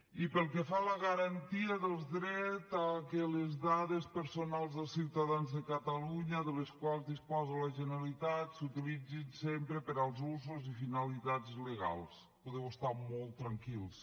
i pel que fa a la garantia dels drets a que les dades personals dels ciutadans de catalunya de les quals disposa la generalitat s’utilitzin sempre per als usos i finalitats legals podeu estar molt tranquils